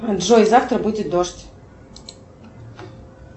джой завтра будет дождь